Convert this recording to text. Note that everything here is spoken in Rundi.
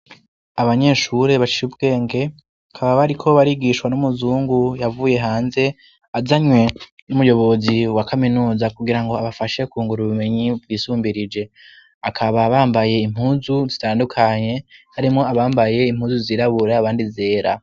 Abanyeshure baciye ubwenge, bakaba bariko barigishwa n'umuzungu yavuye hanze azanywe n'umuyobozi wa kaminuza kugirango abafashe kwungura ubumenyi bwisumbirije. Bakaba bambaye impuzu zitandukanye harimwo abambaye impuzu zirabura, abandi zera.